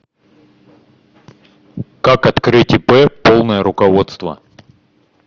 как открыть ип полное руководство